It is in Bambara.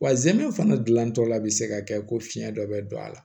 Wa zɛmɛ fana gilantɔla bɛ se ka kɛ ko fiyɛn dɔ bɛ don a la